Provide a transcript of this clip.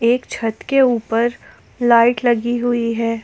एक छत के ऊपर लाइट लगी हुई है।